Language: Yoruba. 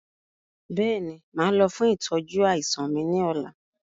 Bẹ́ẹ̀ni, máa lọ fún ìtọ́jú àìsàn mi ni ọ̀la